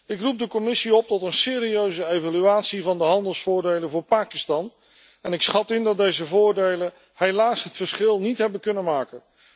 Ik roep de Commissie op tot een serieuze evaluatie van de handelsvoordelen voor Pakistan en ik schat in dat deze voordelen helaas het verschil niet hebben kunnen maken.